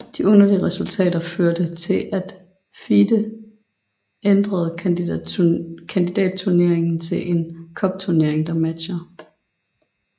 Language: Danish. De underlige resultater førte til at FIDE ændrede kandidatturnering til en cupturnering med matcher